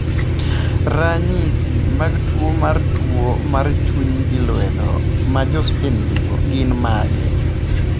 Ranyisi mag tuwo mar tuwo mar chuny gi lwedo, ma Jo-Spain nigo, gin mage?